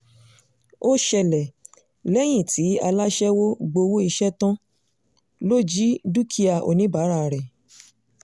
ó ṣẹlẹ̀ lẹ́yìn tí aláṣẹwọ́ gbowó iṣẹ́ ẹ̀ tán ló jí dúkìá oníbàárà rẹ̀